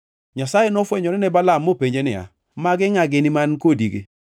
Nyasaye nofwenyore ne Balaam mopenje niya, “Magi ngʼa gini man kodigi?”